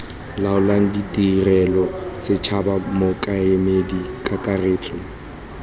laolang tirelo setšhaba mokaedi kakaretso